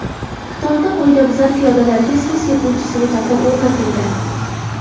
Xitoyda qoidabuzar piyodalarga suv sepuvchi svetofor o‘rnatildi .